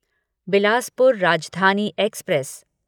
Bilaspur Rajdhani express